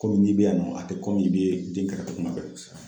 Kɔmi n'i bɛ yan nɔ a tɛ kɔmi i bɛ den kɛrɛfɛ kuma bɛɛ kosɛbɛ